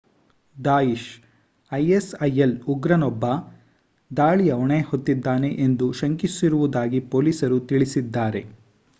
Daesh ISIL ಉಗ್ರನೊಬ್ಬ ದಾಳಿಯ ಹೊಣೆ ಹೊತ್ತಿದ್ದಾನೆ ಎಂದು ಶಂಕಿಸಿರುವುದಾಗಿ ಪೋಲೀಸರು ತಿಳಿಸಿದ್ದಾರೆ